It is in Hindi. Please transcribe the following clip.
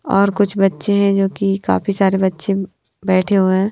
और कुछ बच्चे हैं जो कि काफी सारे बच्चे बैठे हुए हैं।